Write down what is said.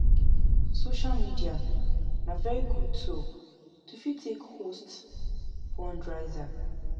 Social media na very good tool to fit take host fundraiser